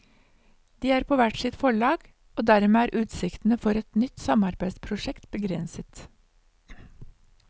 De er på hvert sitt forlag, og dermed er utsiktene for et nytt samarbeidsprosjekt begrenset.